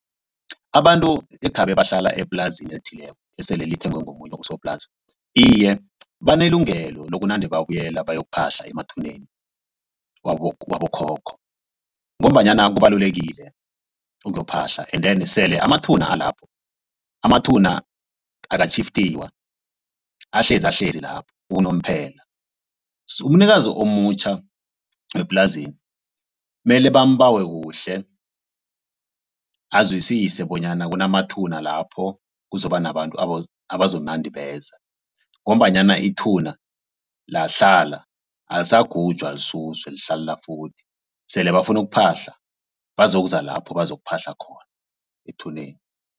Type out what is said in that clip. Abantu ekhabe bahlala eplazini elithileko esele lithengwa ngomunye usoplazi. Iye banelungelo lokunande babuyela bayokuphahla emathuneni wabokhokho. Ngombanyana kubalulekile ukuyophahla endeni sele amathuba alapho amathuba akatjhifitiwa ahlezi ahlezi lapho unomphela. So umnikazi omutjha weplazeli mele bambawe kuhle azwisise bonyana kunamathuba lapho kuzoba nabantu abazonande beza ngombanyana ithuba lahlala alisagujwa lisuswe lihlalela futhi sele bafuna ukuphahla bazokuza lapho bazokuphahla khona ethuneni.